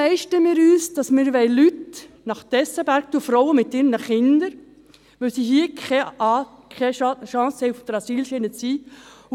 Weshalb leisten wir es uns, Leute – Frauen mit ihren Kindern – nach Tessenberg führen zu wollen, obwohl sie hier keine Chance auf die Asylschiene haben?